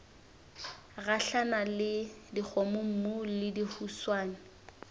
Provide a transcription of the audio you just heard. gahlana le dikgomommuu le dihuswane